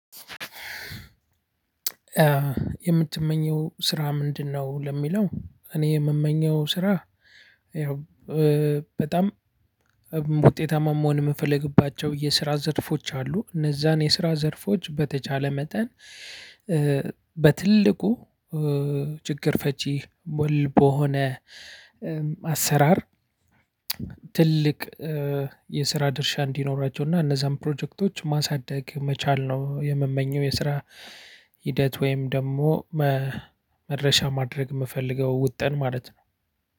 የምትመኘው ስራ ምንድነው? ለሚለው እኔ የምመኘው ስራ። ያው በጣም ውጤታማ መሆን የምፈልግባቸው የስራ ዘርፎች አሉ እነዛን የስራ ዘርፎች በተቻለ መጠን። በትልቁ ችግር ፈቺ ሞል በሆነ አሰራር። ትልቅ የስራ ድርሻ እንዲኖራቸው እና እነዛን ፕሮጀክቶች ማሳደግ መቻል ነው የምመኘው። የስራ ሂደት ወይም ደግሞ መድረሻ ማድረግ የምፈልገው ውጠን ማለት ነው።